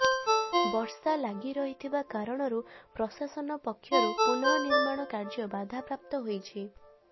ବର୍ଷା ଲାଗି ରହିଥିବା କାରଣରୁ ପ୍ରଶାସନ ପକ୍ଷରୁ ପୁନଃ ନିର୍ମାଣ କାର୍ଯ୍ୟ ବାଧାପ୍ରାପ୍ତ ହୋଇଛି